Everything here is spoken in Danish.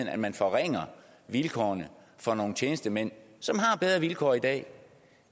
at man forringer vilkårene for nogle tjenestemænd som har bedre vilkår i dag